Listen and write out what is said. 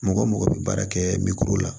Mɔgɔ mɔgɔ bɛ baara kɛ la